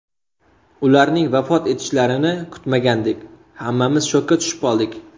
Ularning vafot etishlarini kutmagandik hammamiz shokka tushib qoldik.